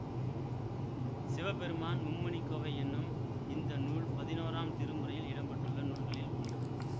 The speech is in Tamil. சிவபெருமான் மும்மணிக்கோவை என்னும் இந்த நூல் பதினோராம் திருமுறையில் இடம் பெற்றுள்ள நூல்களில் ஒன்று